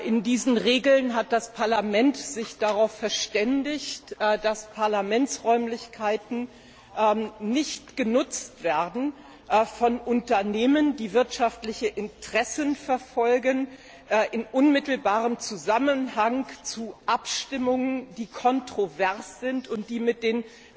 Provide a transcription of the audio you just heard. In diesen Regeln hat sich das Parlament darauf verständigt, dass Parlamentsräumlichkeiten nicht genutzt werden von Unternehmen, die wirtschaftliche Interessen verfolgen, die in unmittelbarem Zusammenhang mit Abstimmungen stehen, die kontrovers sind und die mit den